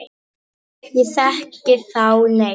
Ég þekki þá ekki neitt.